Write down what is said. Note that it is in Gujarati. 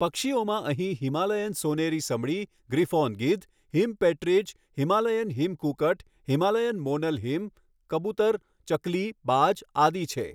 પક્ષીઓમાં અહીં હિમાલયન સોનેરી સમડી ગ્રીફોન ગીધ હિમ પેટ્રીજ હિમાલયન હિમ કુકટ હિમાલયન મોનલ હિમ કબુતર ચકલી બાજ આદિ છે.